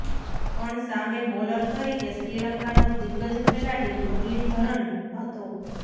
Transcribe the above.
પણ સામે બોલર તરીકે શ્રીલંકાનો દિગ્ગજ ખેલાડી મુરલીધરન હતો